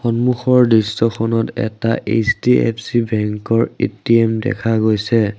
সন্মুখৰ দৃশ্যখনত এটা এইচ_ডি_এফ_চি বেংকৰ এ_টি_এম দেখা গৈছে।